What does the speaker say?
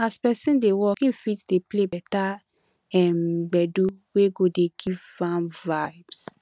as person dey work im fit dey play better um gbedu wey go dey give am vibes